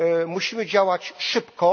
Musimy działać szybko.